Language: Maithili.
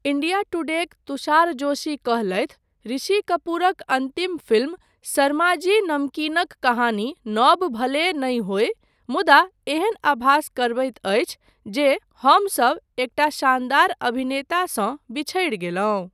इंडिया टुडेक तुषार जोशी कहलथि 'ऋषि कपूरक अन्तिम फिल्म शर्माजी नमकीनक कहानी नव भले नहि होय मुदा एहन आभास करबैत अछि जे हमसब एकटा शानदार अभिनेतासँ बिछड़ि गेलहुँ'।